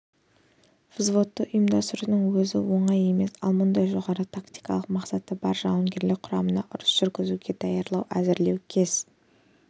взводты ұйымдастырудың өзі оңай емес ал мұндай жоғары тактикалық мақсаты бар жауынгерлік құраманы ұрыс жүргізуге даярлау әзірлеу кез